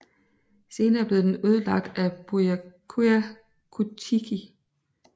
Senere blev den ødelagt af Byakuya Kuchiki